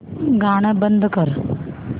गाणं बंद कर